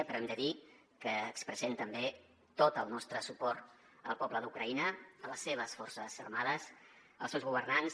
però hem de dir que expressem també tot el nostre suport al poble d’ucraïna a les seves forces armades als seus governants